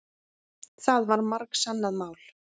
Það var margsannað mál.